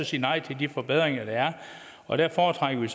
sige nej til de forbedringer der er og der foretrækker vi